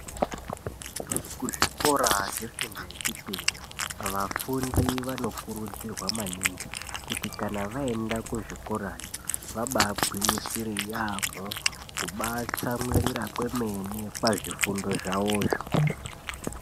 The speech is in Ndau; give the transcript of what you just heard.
Ku zvikora zve fundo ye chipiri vafundi vano kurudzirwa maningi kuti kana vayenda ku zvikorayo vabai gwinyisire yamho kuba tsamwirira kwemene pa zvifundo zvawozvo.